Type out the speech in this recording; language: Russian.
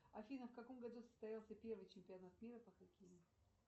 афина в каком году состоялся первый чемпионат мира по хоккею